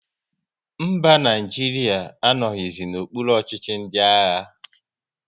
Mba, Naijiria anoghizi n'okpuru ọchịchị ndị agha